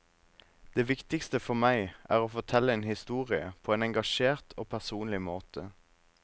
Det viktigste for meg er å fortelle en historie på en engasjert og personlig måte.